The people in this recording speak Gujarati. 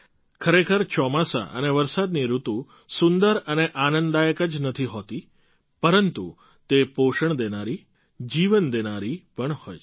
ખરેખર ચોમાસા અને વરસાદની ઋતુ સુંદર અને આનંદદાયક જ નથી હોતી પરંતુ તે પોષણ દેનારી જીવન દેનારી પણ હોય છે